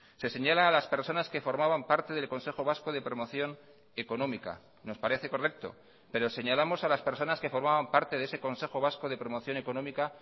se señala a las personas que formaban parte del consejo vasco de promoción económica nos parece correcto pero señalamos a las personas que formaban parte de ese consejo vasco de promoción económica